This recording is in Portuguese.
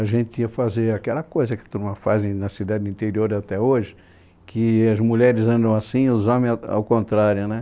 A gente ia fazer aquela coisa que a turma faz na cidade do interior até hoje, que as mulheres andam assim e os homens ao ao contrário, né?